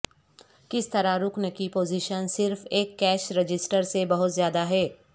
کس طرح رکن کی پوزیشن صرف ایک کیش رجسٹر سے بہت زیادہ ہے